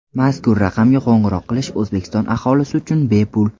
Mazkur raqamga qo‘ng‘iroq qilish O‘zbekiston aholisi uchun bepul.